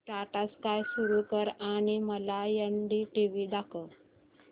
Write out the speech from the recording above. Tata sky सुरू कर आणि मला एनडीटीव्ही दाखव